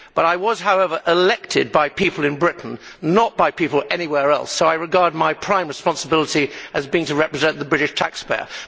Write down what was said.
I was, however, elected by people in Britain, not by people anywhere else, so I regard my prime responsibility as being to represent the British taxpayer.